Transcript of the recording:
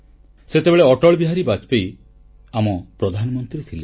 ସେତେବେଳେ ଅଟଳ ବିହାରୀ ବାଜପେୟୀ ଆମ ପ୍ରଧାନମନ୍ତ୍ରୀ ଥିଲେ